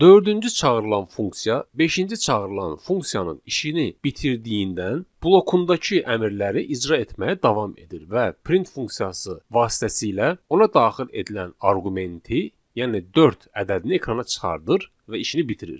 Dördüncü çağırılan funksiya, beşinci çağırılan funksiyanın işini bitirdiyindən blokundakı əmrləri icra etməyə davam edir və print funksiyası vasitəsilə ona daxil edilən arqumenti, yəni dörd ədədini ekrana çıxardır və işini bitirir.